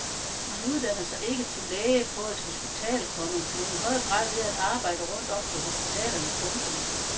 Man uddanner sig ikke til læge på et hospital, komma men i høj grad ved at arbejde rundt om på hospitalerne. punktum